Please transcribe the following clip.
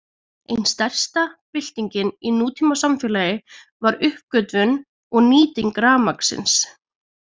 Ein stærsta byltingin í nútímasamfélagi var uppgötvun og nýting rafmagnsins.